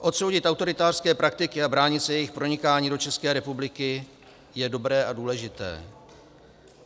Odsoudit autoritářské praktiky a bránit se jejich pronikání do České republiky je dobré a důležité.